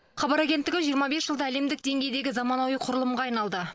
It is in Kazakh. хабар агенттігі жиырма бес жылда әлемдік деңгейдегі заманауи құрылымға айналды